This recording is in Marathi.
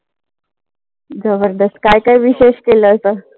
जबरदस्त काय काय विशेष केलं अस.